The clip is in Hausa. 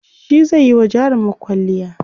shi zaiyi wa jarumar kwalliya